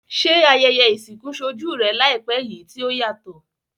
Se ayẹyẹ ìsìnkú solú rẹ làìpé yi ti o yàtò?